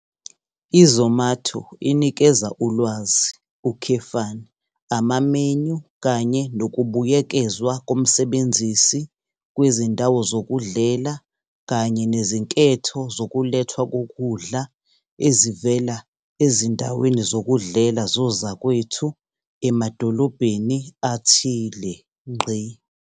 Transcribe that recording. I-Zomato inikeza ulwazi, amamenyu kanye nokubuyekezwa komsebenzisi kwezindawo zokudlela kanye nezinketho zokulethwa kokudla ezivela ezindaweni zokudlela zozakwethu emadolobheni athile.